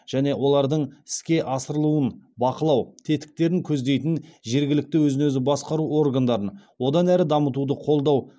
және олардың іске асырылуын бақылау тетіктерін көздейтін жергілікті өзін өзі басқару органдарын одан әрі дамытуды қолдау қажеттігін атап өткенін еске салды